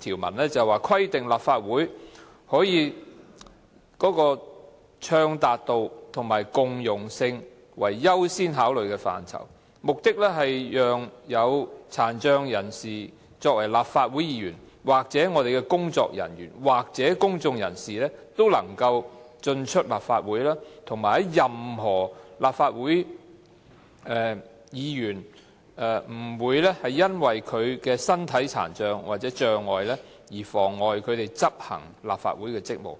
以規定立法會以暢達度和共融性為優先考慮範疇，目的是讓殘障立法會議員、工作人員和公眾人士都能夠進出立法會，以及任何立法會議員不會因為其身體殘障而妨礙他們執行立法會職務。